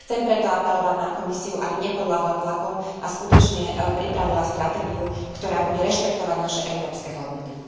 Chcem preto apelovať na Komisiu, aby nepodľahla tlakom a skutočne pripravila stratégiu, ktorá bude rešpektovať naše európske hodnoty.